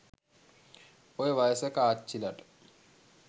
ඔය වයසක අච්චිලට